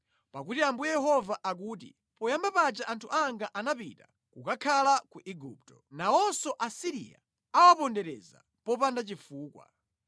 Pakuti Ambuye Yehova akuti, “Poyamba paja anthu anga anapita kukakhala ku Igupto; nawonso Asiriya awapondereza popanda chifukwa.”